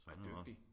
Er dygtig